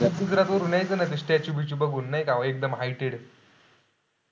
गुजरात वरून यायचं ना statue बिच्चू बघून, नाही का एकदम heighted